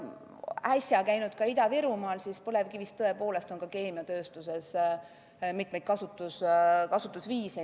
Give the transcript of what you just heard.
Käisin äsja Ida-Virumaal ja võin öelda, et põlevkivil on keemiatööstuses mitmeid kasutusviise.